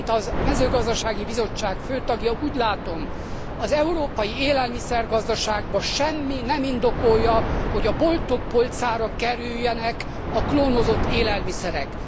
Én, mint a Mezőgazdasági Bizottság fő tagja úgy látom, az európai élelmiszer gazdaságban semmi nem indokolja, hogy a boltok polcára kerüljenek a klónozott élelmiszerek.